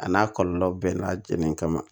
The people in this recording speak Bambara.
A n'a kɔlɔlɔ bɛɛ n'a jeneni kama